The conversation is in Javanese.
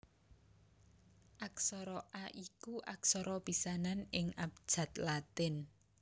Aksara A iku aksara pisanan ing abjad Latin